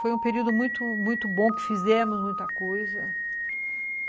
Foi um período muito bom muito bom, que fizemos muita coisa.